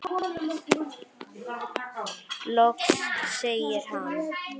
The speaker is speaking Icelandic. Loks segir hann